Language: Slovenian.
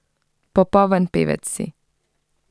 Popoln pevec si.